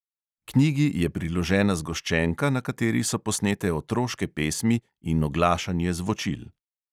Knjigi je priložena zgoščenka, na kateri so posnete otroške pesmi in oglašanje zvočil.